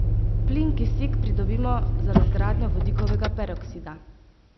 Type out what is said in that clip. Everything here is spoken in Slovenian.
Plin kisik pridobimo z razgradnjo vodikovega peroksida.